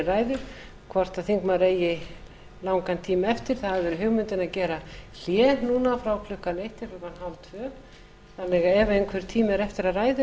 ræðu hvort þingmaðurinn eigi langan tíma eftir það hefur verið hugmyndin að gera hlé núna klukkan eitt til klukkan hálftvö þannig að ef einhver tími er eftir af